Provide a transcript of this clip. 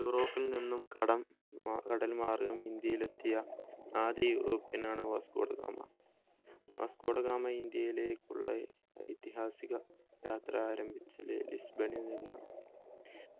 യൂറോപ്പിൽ നിന്നും കടം കടൽ മാർഗം ഇന്ത്യയിൽ എത്തിയ ആദ്യ european ആണ് Vasco da Gama Vasco. Da Gama ഇന്ത്യയിലേക്കുള്ള ഐതിഹാസിക യാത്ര ആരംഭിച്ചത് ലിസ്ബണിൽ നിന്നാണ്